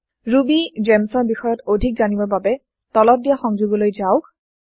ৰুবিগেমছ ৰ বিষয়ত অধিক জানিবৰ বাবে তলত দিয়া সংযোগলৈ যাওক